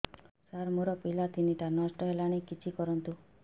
ସାର ମୋର ପିଲା ତିନିଟା ନଷ୍ଟ ହେଲାଣି କିଛି କରନ୍ତୁ